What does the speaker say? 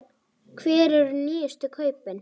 Hver eru nýjustu kaupin?